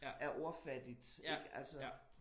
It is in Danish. Er ordfattigt ik altså